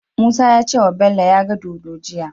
Musa yace wa Bello yaga dodo jiya